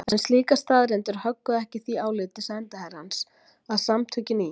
En slíkar staðreyndir högguðu ekki því áliti sendiherrans að Samtökin í